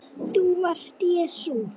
ÞÚ VARST JESÚ